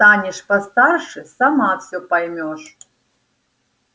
станешь постарше сама всё поймёшь